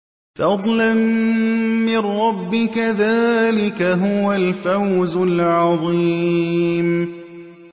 فَضْلًا مِّن رَّبِّكَ ۚ ذَٰلِكَ هُوَ الْفَوْزُ الْعَظِيمُ